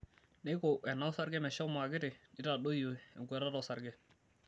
Neiko ena osarge meshomo akiti, neitadoyio enkuatata osarge.